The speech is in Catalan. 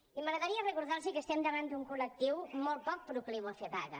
i m’agradaria recordar los que estem davant d’un col·lectiu molt poc procliu a fer vaga